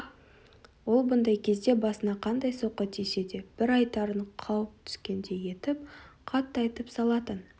ол бұндай кезде басына қандай соққы тисе де бір айтарын қауып түскендей етіп қатты айтып салатын